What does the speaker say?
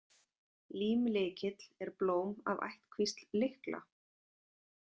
Límlykill er blóm af ættkvísl lykla.